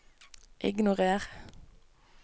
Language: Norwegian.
ignorer